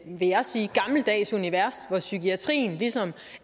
vil jeg sige gammeldags univers hvor psykiatrien ligesom